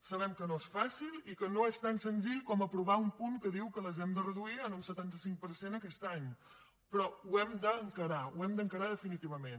sabem que no és fàcil i que no és tan senzill com aprovar un punt que diu que les hem de reduir en un setanta cinc per cent aquest any però ho hem d’encarar ho hem d’encarar definitivament